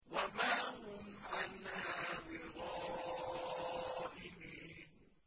وَمَا هُمْ عَنْهَا بِغَائِبِينَ